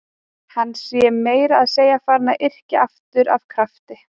Hann sé meira að segja farinn að yrkja aftur af krafti.